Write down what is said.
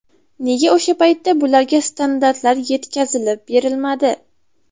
Nega o‘sha paytda bularga standartlar yetkazilib berilmadi?